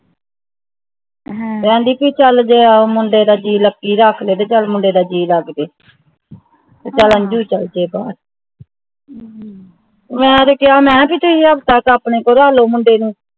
ਕਹਿੰਦੀ ਕਿ ਚੱਲ ਜੇ ਮੁੰਡੇ ਦਾ ਜੀ ਲੱਕੀ ਰਾਖਲੇ ਤਾਂ ਚੱਲ ਮੁੰਡੇ ਦਾ ਜੀ ਲਗਜੇ ਤੇ ਚੱਲ ਅੰਜੂ ਚੱਲਜੇ ਬਾਹਰ ਮੈਂ ਤਾਂ ਕਿਹਾ ਮੈਂ ਕਿ ਤੁਸੀ ਆਪਣੇ ਕੋਲ ਰਾਖਲੋ ਮੁੰਡੇ ਨੂੰ